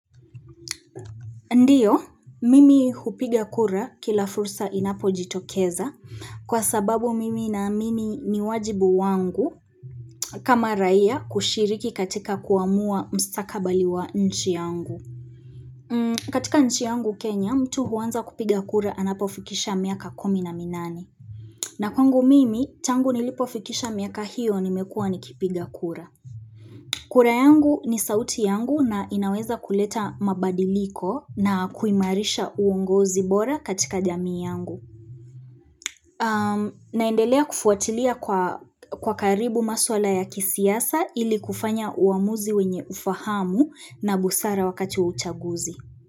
Ndiyo, mimi hupiga kura kila fursa inapo jitokeza kwa sababu mimi na mimi ni wajibu wangu kama raia kushiriki katika kuamua mstakabali wa nchi yangu. Katika nchi yangu Kenya, mtu huanza kupiga kura anapo fikisha miaka kumi na minane. Na kwangu mimi, tangu nilipo fikisha miaka hiyo nimekuwa nikipiga kura. Kura yangu ni sauti yangu na inaweza kuleta mabadiliko na kuimarisha uongozi bora katika jamii yangu. Naendelea kufuatilia kwa karibu maswala ya kisiasa ili kufanya uamuzi wenye ufahamu na busara wakati wa uchaguzi.